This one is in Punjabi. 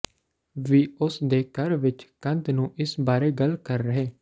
ਵੀ ਉਸ ਦੇ ਘਰ ਵਿਚ ਕੰਧ ਨੂੰ ਇਸ ਬਾਰੇ ਗੱਲ ਕਰ ਰਹੇ